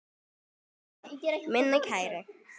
Takk fyrir það, minn kæri.